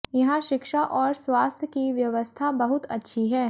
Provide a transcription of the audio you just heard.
यहां शिक्षा और स्वास्थ्य की व्यवस्था बहुत अच्छी है